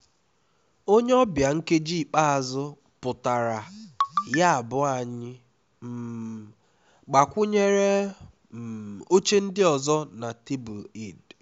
onye ọbịa nkeji ikpeazụ pụtara yabụ anyị um gbakwunyere um oche ndị ọzọ na tebụl eid